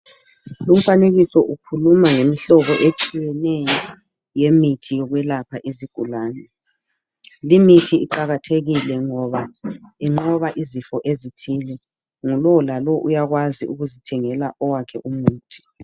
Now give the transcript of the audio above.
lu mfanekiso ukhuluma ngemihlobo etshiyeneyo yemithi yokwelapha izigulane li mithi iqakathekile ngoba inqoba izifo ezithile ngu lowo lawo uyakwazi ukuzithengela owakhe umuthi